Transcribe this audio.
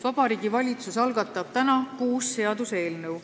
Vabariigi Valitsus algatab täna kuus seaduseelnõu.